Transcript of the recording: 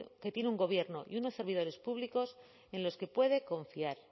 que tiene un gobierno y unos servidores públicos en los que puede confiar